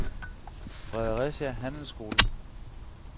Fredericia Handelsskole